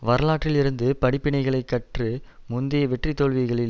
வரலாற்றில் இருந்து படிப்பினைகளை கற்று முந்தைய வெற்றி தோல்விகளில்